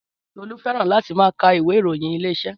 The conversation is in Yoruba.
Tọlú fẹ́ràn láti máa ka ìwé ìròyìn Ilé-iṣẹ́